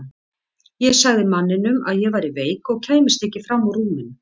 Ég sagði manninum að ég væri veik og kæmist ekki fram úr rúminu.